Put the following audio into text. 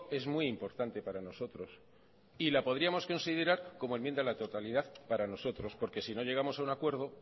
es muy importante para nosotros y la podríamos considerar como enmienda a la totalidad para nosotros porque si no llegamos a un acuerdo